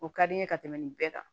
O ka di n ye ka tɛmɛ nin bɛɛ kan